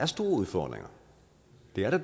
vi har